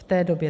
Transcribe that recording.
V té době.